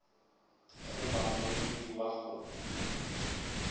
go ba moemedi wa go